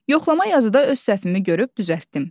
Yoxlama yazıda öz səhvimi görüb düzəltdim.